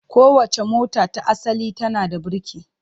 Kowace mota ta asali tana da birki.